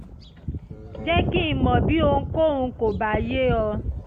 jẹ́ kí n mọ̀ bí ohunkóhun kò bá yé ọ